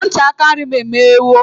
Ntị aka nri m emeghewo.